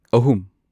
ꯑꯍꯨꯝ